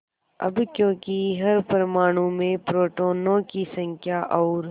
अब क्योंकि हर परमाणु में प्रोटोनों की संख्या और